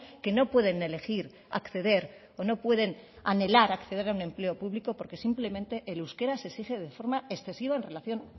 que no pueden elegir acceder o no pueden anhelar acceder a un empleo público porque simplemente el euskera se exige de forma excesiva en relación